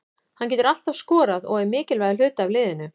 Hann getur alltaf skorað og er mikilvægur hluti af liðinu.